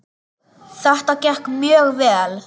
Þetta gekk mjög vel.